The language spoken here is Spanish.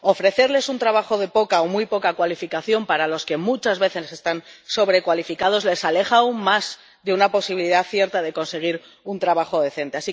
Ofrecerles un trabajo de poca o muy poca cualificación para el que muchas veces están sobrecualificados les aleja aún más de una posibilidad cierta de conseguir un trabajo decente.